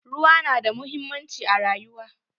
Ruwa na da muhimmanci a rayuwa.